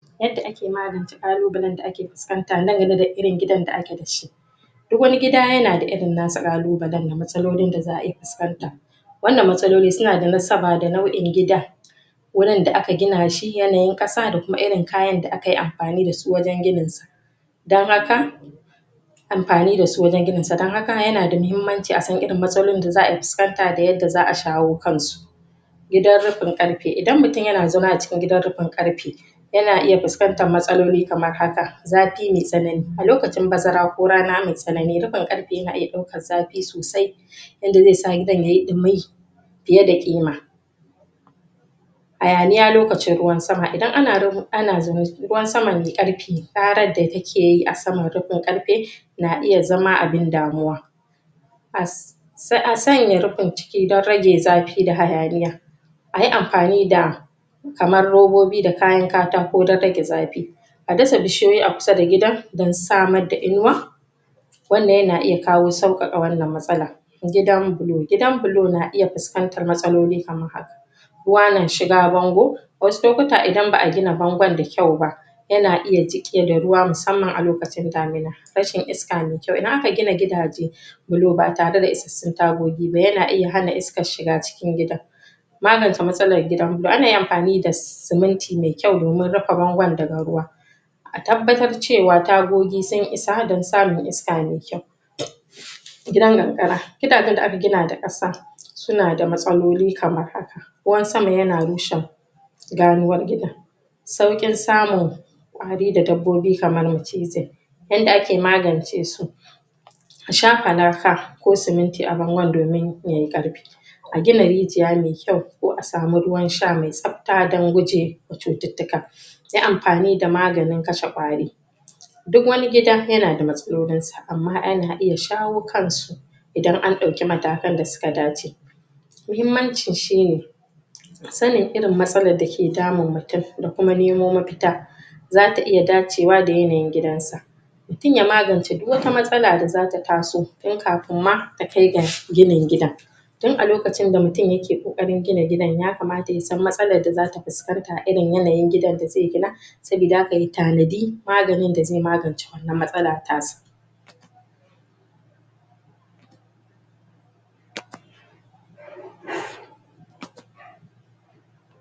Yadda ake magance ƙalubalen da ake fuskanta na game da irin gidan da ake da shi, duk wani gida ya na da irin nasa ƙalubalen da matsalolin da za'a iya fuskanta wannan matsaloli su na da nasaba da nau'in gida wurin da aka gina shi, yanayin ƙasa da kuma irin kayan da aka yi amfani da su wajen gininsa, amfani da su wajen gininsa don haka yanada mahammanci a san irin matsalolin da za'a fuskanta da yadda za'a shawo kansu wurin da aka gina shi, yanayin ƙasa da kuma irin kayan da aka yi amfani da su wajen gininsa, don haka amfani da su wajen gininsa, don haka ya na da mahimmanci a san irin matsalolin da za'a fuskanta a san yadda za'a shawo kanu. Gidan rufin ƙarfe idan mutum ya na zama a cikin gidan rufin ƙarfe ya na iya fuskantar matsaloli kamar haka: zafi mai tsanani a lokacin bazara ko rana mai tsanani rufinƙarfe ya na iya ɗaukar zafi sosai yanda zai sa gidan ya yi ɗumi fiye da ƙima, hayaniya lokacin ruwan sama, idan ana ruwa ana zaune ciki ruwan sama mai ƙarfi ƙarar da ta ke yi a saman rufin ƙarfe na iya zama abun damuwa as sai a sanya rufin ciki don rage zafi da hayaniya ayi amfani da kamar robobi da kayan katako don rage zafi a dasa bishiyoyi a kusa da gida don samar da inuwa wannan ya na iya kawo sauƙaƙa wannan matsala. Gidan bulo, gidan bulu na iya fuskantar matsaloli kamar haka: ruwa na shiga bango wasu lokuta idan ba'a gina bangon da kyau ba ya na ya jiƙewa da ruwa musamman a lokacin damuna. Rashin isaka mai kyau, idan aka gina gidaje bulo ba tare da isassun tagogi ba ya na iya hana iskar shiga cikin gidan magance matsalar gidan bulo ana iya amfani da siminti mai kyau domin rufe bangon daga ruwa a tabbatar ce wa tagogi sun isa don samun iska mai kyau. Gidan karkara, gidajen da aka gina da ƙasa su na da matsaloli kamar haka: ruwan sama ya na rushe ganuwar gidan sauƙin samun ƙwari da dabbobi kamar macizai yanda ake magance su a shafa laka ko siminti a bangon domin yai ƙarfi a gina rijiya mai kyau ko a samu ruwan sha mai tsafta don gujema cututtuka yi amfani da maganin kashe ƙwari duk wani gida ya na da matsalolinsa amma ana iya shawo kansu idan an ɗauki matakan da suka dace, mahimmancin shine sanin irin matsalar da ke damun mutum da kuma nemo mafita zata iya dacewa da yanayn gidansa, mutum ya magance duk wata matsala da zata taso tun kafinmma ta kai ga ginin gidan tun a lokacin da mutum ya ke ƙoƙarin gina gidan yakamata ya san matsalar da zai fusakanta irin yanayin gidan da zai gina saboda haka ya tanadi maganin da zai magance wannan matsala tasa.